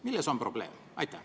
Milles on probleem?